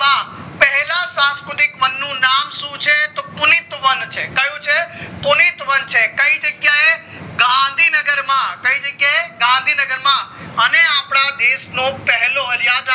માં પહેલા સંસ્કૃતિક વન નું નામ શું છે તો પુલિત વન છે કયું છે પુલિત વન છે કઈ જગ્યાએ ગાંધીનગર માં કય જગ્યાએ ગાંધીનગર માં અને અપડા દેશ નું પહેલો યાદ